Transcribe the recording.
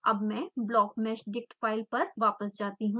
अब मैं blockmeshdict file पर वापस जाती हूँ